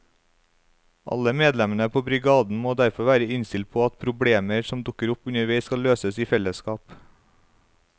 Alle medlemmene på brigaden må derfor være innstilt på at problemer som dukker opp underveis skal løses i fellesskap.